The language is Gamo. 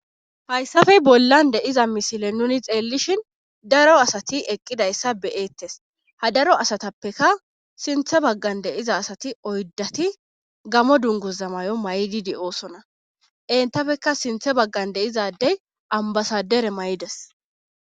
hayssafey bollan de'iza misile nuni xeellishin daro asati eqqidayssa be'eettes ha daro asatappeka sinthe baggan de'iza asati oydati gamo dunguza mayo may7idi de'oosona entapfeka sinthe baggar deizadey ambasadere mayides